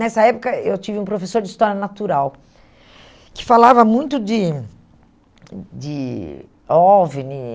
Nessa época, eu tive um professor de História Natural que falava muito de de OVNI.